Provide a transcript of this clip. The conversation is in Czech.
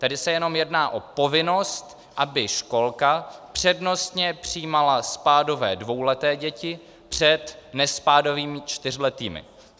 Tady se jenom jedná o povinnost, aby školka přednostně přijímala spádové dvouleté děti před nespádovými čtyřletými.